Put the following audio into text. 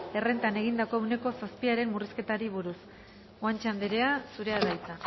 errentan egindako ehuneko zazpiaren murrizketari buruz guanche andrea zurea da hitza